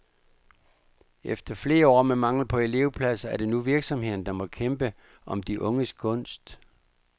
Efter flere år med mangel på elevpladser, er det nu virksomhederne, der må kæmpe om de unges gunst.